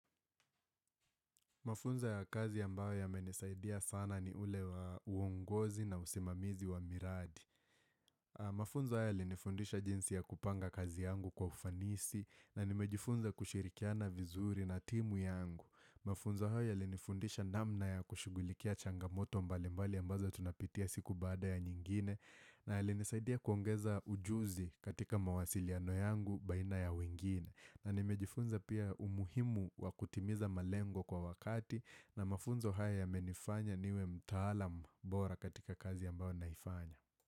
Mafunzo ya kazi ambayo yamenisaidia sana ni ule wa uongozi na usimamizi wa miradi. Mafunzo ya linifundisha jinsi ya kupanga kazi yangu kwa ufanisi na nimejifunza kushirikiana vizuri na timu yangu. Mafunzo hayo ya llinifundisha namna ya kushighulikia changamoto mbali mbali ambazo tunapitia siku baada ya nyingine na linisaidia kuongeza ujuzi katika mawasiliano yangu baina ya wengine. Na nimejifunza pia umuhimu wakutimiza malengo kwa wakati na mafunzo haya yamenifanya niwe mtaalam bora katika kazi ambayo naifanya.